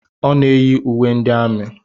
Ọ na-eyi uwe ndị amị.